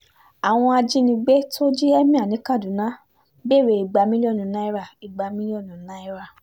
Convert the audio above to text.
àwọn ajínigbé tó jí emir ní kaduna ń béèrè igba mílíọ̀nù náírà mílíọ̀nù náírà